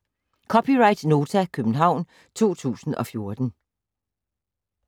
(c) Nota, København 2014